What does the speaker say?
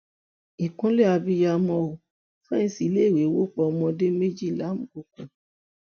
ìkúnlẹ abiyamọ ò fẹǹsì iléèwé wó pa ọmọdé méjì lámùkòkò